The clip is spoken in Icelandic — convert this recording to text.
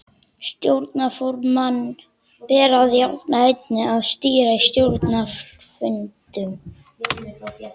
Stjórnarformanni ber að jafnaði einnig að stýra stjórnarfundum.